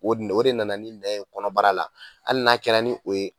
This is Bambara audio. O o de nana ni nɛn ye kɔnɔbara la hali n'a kɛra ni o ye